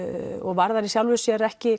varðar í sjálfu sér ekki